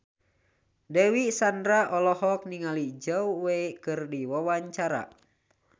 Dewi Sandra olohok ningali Zhao Wei keur diwawancara